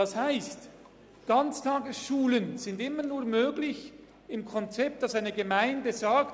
Das heisst: Ganztagsschulen sind immer nur möglich in einem Konzept, in welchem die Gemeinde sagt: